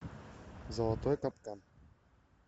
золотой капкан